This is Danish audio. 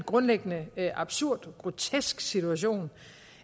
grundlæggende en absurd og grotesk situation